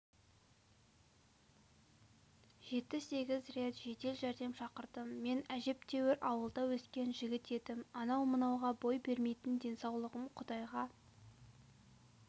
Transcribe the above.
жеті-сегіз рет жедел жәрдем шақырдым мен әжептәуір ауылда өскен жігіт едім анау-мынауға бой бермейтін денсаулығым құдайға